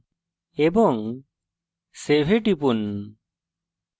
এবং save এ টিপুন